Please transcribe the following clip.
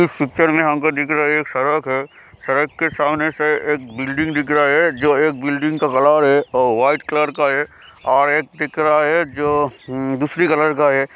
इस पिक्चर में हमको दिख रहे एक सड़क है सड़क के सामने से एक बिल्डिंग दिख रहा है जो एक बिल्डिंग का कलर है और वाइट कलर का है और एक दिख रहा है जो उम्म दूसरी कलर का हैं।